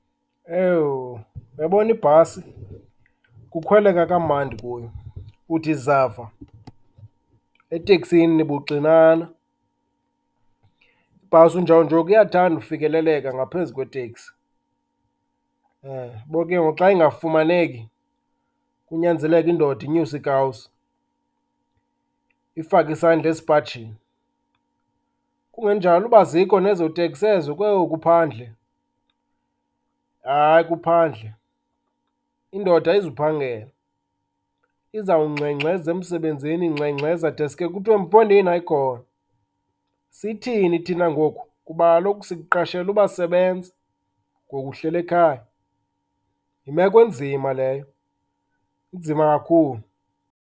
Ewu! Uyabona ibhasi, kukhweleka kamandi kuyo. Uthi zava, eteksini nibuxinana. Ibhasi unjawunjoku iyathanda ufikeleleka ngaphezu kweteksi. , uyabo ke ngoku xa ingafumaneki, kunyanzeleke indoda inyuse iikawusi, ifake isandla esipajini. Kungenjalo uba azikho nezoteksi ezo, kwewu, kuphandle. Hayi, kuphandle. Indoda ayizuphanghela, izawungxengxeza emsebenzini, ingxengxeza deske kuthiwe, mfondini, hayi khona. Sithini thina ngoku, kuba kaloku sikuqashele uba sebenza ngoku uhlele khaya? Yimeko enzima leyo, inzima kakhulu.